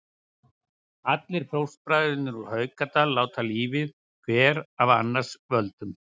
Allir fóstbræðurnir úr Haukadal láta lífið, hver af annars völdum.